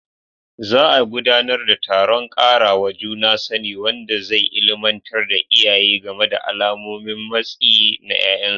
Za a gudanar da taron ƙarawa juna sani, wanda zai illimantar da iyaye game da alamomin matsi na ƴaƴansu.